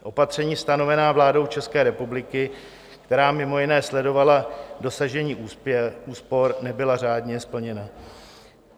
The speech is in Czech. Opatření stanovená vládou České republiky, která mimo jiné sledovala dosažení úspor, nebyla řádně splněna.